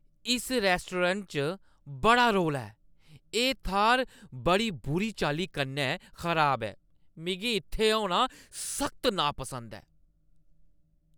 इस रेस्तरा च बड़ा रौला ऐ, एह् थाह्‌र बड़ी बुरी चाल्ली कन्नै खराब ऐ, मिगी इत्थै होना सख्त नापसंद ऐ।